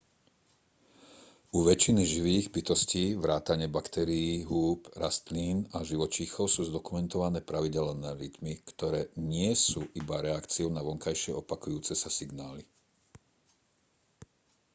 u väčšiny živých bytostí vrátane baktérií húb rastlín a živočíchov sú zdokumentované pravidelné rytmy ktoré nie sú iba reakciou na vonkajšie opakujúce sa signály